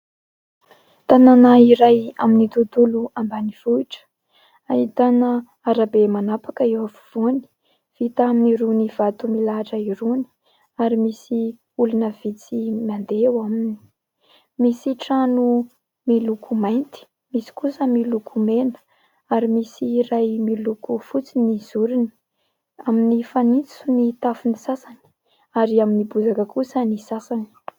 Tanàna iray amin'ny tontolo ambanivohitra ahitana arabe manapaka eo afovoany vita amin'irony vato milahatra irony ary misy olona vitsy mandeha eo aminy. Misy trano miloko mainty, misy kosa miloko mena ary misy iray miloko fotsy ny zoriny, amin'ny fanitso ny tafon'ny sasany ary amin'ny bozaka kosa ny sasany.